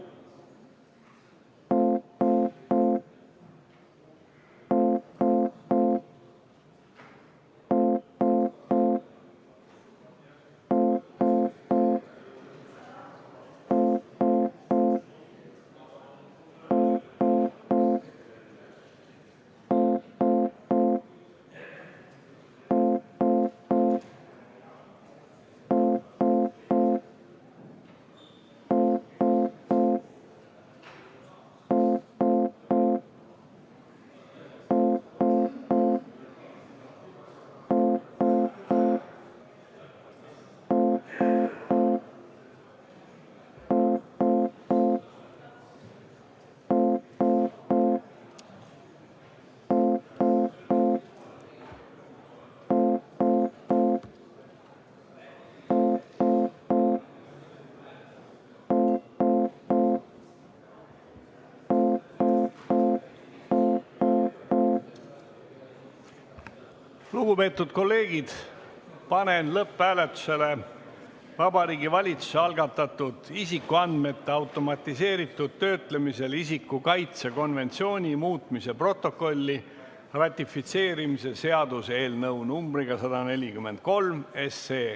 Lugupeetud kolleegid, panen lõpphääletusele Vabariigi Valitsuse algatatud isikuandmete automatiseeritud töötlemisel isiku kaitse konventsiooni muutmise protokolli ratifitseerimise seaduse eelnõu 143.